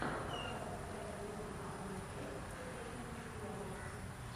показывай второй эпизод сезона пять секретные материалы